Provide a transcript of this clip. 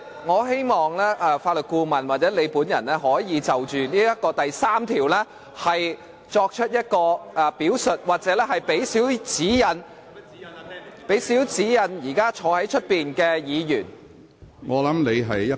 我希望法律顧問或主席可以就該條例第3條作出表述，向現時在主席台前的議員提供少許指引。